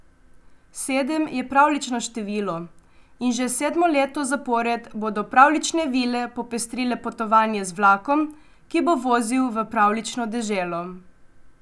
Sedem je pravljično število in že sedmo leto zapored bodo pravljične vile popestrile potovanje z vlakom, ki bo vozil v Pravljično deželo.